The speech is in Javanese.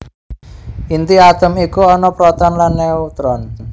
Inti atom iku ana proton lan neutron